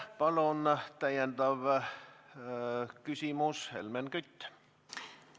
Palun täpsustav küsimus, Helmen Kütt!